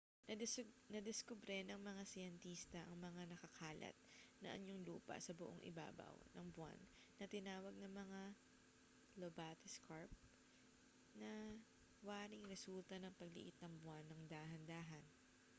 nadiskubre ng mga siyentista ang mga nakakalat na anyong lupa sa buong ibabaw ng buwan na tinawag na mga lobate scarp na waring resulta ng pagliit ng buwan nang dahan-dahan